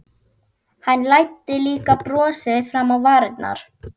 Hann læddi líka brosi fram á varirnar.